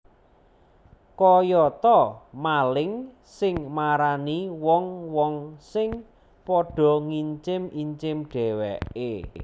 Kaya ta maling sing marani wong wong sing padha ngincim incim dhèwèké